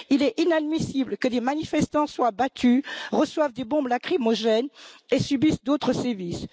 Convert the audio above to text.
Il est inadmissible que des manifestants soient battus, reçoivent des bombes lacrymogènes et subissent d'autres sévices.